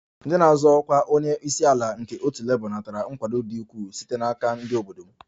Ndị na-azọ ọkwa onye isi ala nke otu Labour natara nkwado dị ukwuu site n'aka ndị obodo m